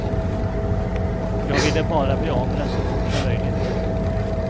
Jag ville bara bli av med den så fort som möjligt.